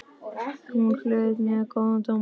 Hún hlaut mjög góða dóma.